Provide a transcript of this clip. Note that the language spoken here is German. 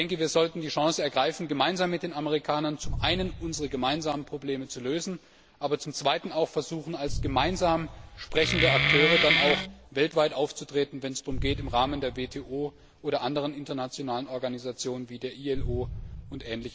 Ich denke, wir sollten die Chance ergreifen, gemeinsam mit den Amerikanern zum einen unsere gemeinsamen Probleme zu lösen, aber zum anderen auch zu versuchen, als gemeinsam sprechende Akteure dann auch weltweit aufzutreten, wenn es darum geht, im Rahmen der WTO oder anderen internationalen Organisationen wie der ILO u.